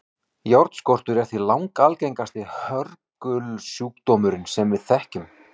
járnskortur er því langalgengasti hörgulsjúkdómurinn sem við þekkjum